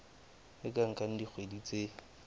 e ka nka dikgwedi tse